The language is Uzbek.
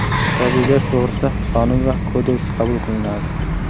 Tabiiy gaz to‘g‘risida qonun va kodeks qabul qilinadi.